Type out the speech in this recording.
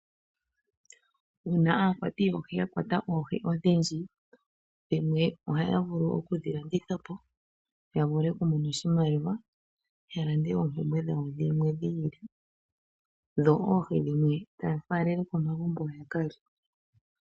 Uuna aakwati yoohi yakwatwa oohi odhindji, dhimwe ohaavulu oku dhilandithapo yavule okumona oshimaliwa yalande oompumbwe dhawo dhimwe dhiili, dho oohi dhimwe tafalele komagumbo yakalye.